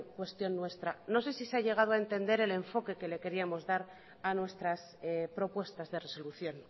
cuestión nuestra no sé si se ha llegado a entender el enfoque que le queríamos dar a nuestras propuestas de resolución